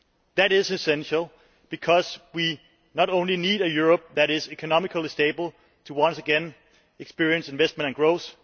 That is essential because we need a Europe that is economically stable to once again experience investment and growth.